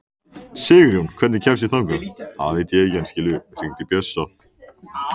Sigurjón, hvernig kemst ég þangað?